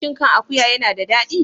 Shin kan akuwa yana da daɗi?